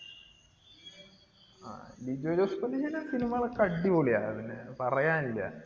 ങ്ഹാ. ലിജോ ജോസിന്റെ cinema കൾ ഒക്കെ അടിപൊളിയാണ്. അതു പിന്നെ പറയാനില്ല.